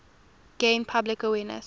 gain public awareness